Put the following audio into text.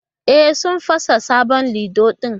E, sun fasa sabon lido din